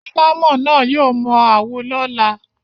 Alámọ̀ náà yóò mọ àwo lọ́la.